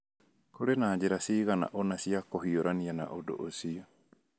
Kũrĩ na njĩra cigana ũna cia kũhiũrania na ũndũ ũcio